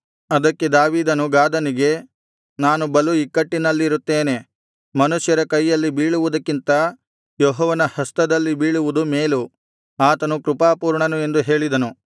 ಅದಕ್ಕೆ ದಾವೀದನು ಗಾದನಿಗೆ ನಾನು ಬಲು ಇಕ್ಕಟ್ಟಿನಲ್ಲಿರುತ್ತೇನೆ ಮನುಷ್ಯರ ಕೈಯಲ್ಲಿ ಬೀಳುವುದಕ್ಕಿಂತ ಯೆಹೋವನ ಹಸ್ತದಲ್ಲಿ ಬೀಳುವುದು ಮೇಲು ಆತನು ಕೃಪಾಪೂರ್ಣನು ಎಂದು ಹೇಳಿದನು